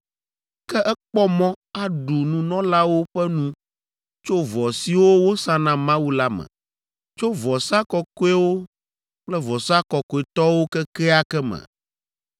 Ke ekpɔ mɔ aɖu nunɔlawo ƒe nu tso vɔ siwo wosa na Mawu la me, tso vɔsa kɔkɔewo kple vɔsa kɔkɔetɔwo kekeake me,